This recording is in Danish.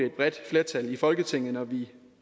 et bredt flertal i folketinget når vi